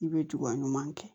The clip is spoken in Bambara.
I bɛ juga ɲuman kɛ